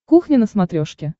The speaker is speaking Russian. кухня на смотрешке